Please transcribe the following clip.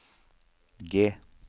G